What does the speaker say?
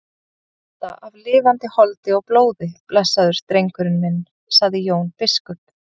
Þú ert með hjarta af lifandi holdi og blóði blessaður drengurinn minn, sagði Jón biskup.